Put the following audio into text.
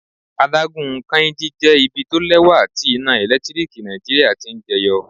Adágún Kainji jẹ́ ibi tó lẹ́wà tí iná ẹ̀lẹ́tíríkì Nàìjíríà ti ń jẹ yọ.